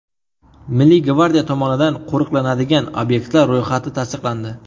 Milliy gvardiya tomonidan qo‘riqlanadigan obyektlar ro‘yxati tasdiqlandi.